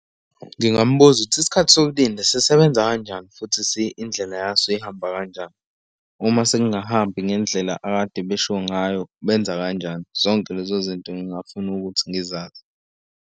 Ngingambuza ukuthi isikhathi sokulinda sisebenza kanjani futhi indlela yaso ihamba kanjani? Uma singahambi ngendlela akade besho ngayo benza kanjani? Zonke lezo zinto ngingafuna ukuthi ngizazi.